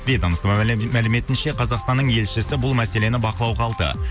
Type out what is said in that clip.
ведомства мәліметінше қазақстанның елшісі бұл мәселені бақылауға алды